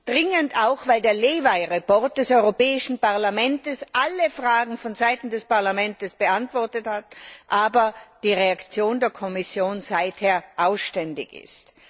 Dringend auch, weil der Lévai Bericht des Europäischen Parlaments alle Fragen vonseiten des Parlaments beantwortet hat, aber die Reaktion der Kommission bislang ausgeblieben ist.